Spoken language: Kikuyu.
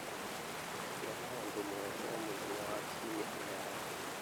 Gĩa na ũndũ mwerũ o mũthenya wa Kiumia mĩaraho